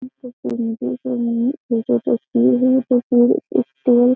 ये जो तस्वीर है --